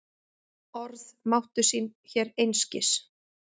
Orð máttu sín hér einskis.